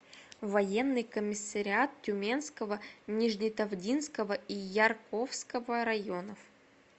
военный комиссариат тюменского нижнетавдинского и ярковского районов